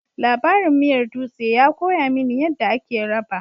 Labarin miyar dutse ya koya mini yadda ake raba